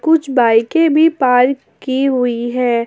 कुछ बाईकें भी पार्क की हुई हैं।